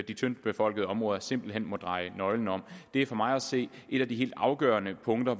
de tyndtbefolkede områder simpelt hen må dreje nøglen om det er for mig at se et af de helt afgørende punkter